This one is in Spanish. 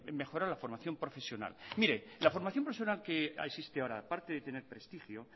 mejorar la formación profesional mire la formación profesional que existe ahora aparte de tener prestigio